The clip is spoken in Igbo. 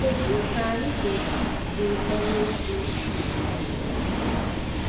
Kedu ka anyị ga - esi zere ọrụ efu dị otu a?